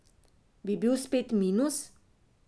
Bi bil spet minus?